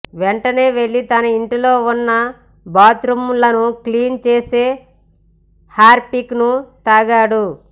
వెంటనే వెళ్లి తన ఇంట్లో ఉన్న బాత్రుమ్ లను క్లీన్ చేసే హర్పిక్ ను తాగాడు